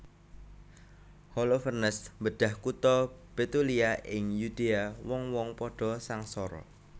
Holofernes mbedhah kutha Betulia ing Yudea wong wong padha sangsara